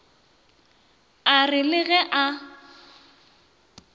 a re le ge a